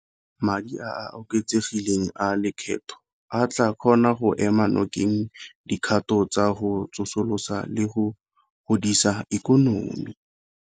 Madi a a oketsegileng a lekgetho a tla kgona go ema nokeng dikgato tsa go tsosolosa le go godisa ikonomi.